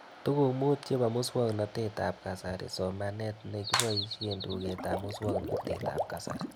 Tuguk mut chepo muswognatet ab kasari somanet ne kipoishe tuget ab muswog'natet ab kasari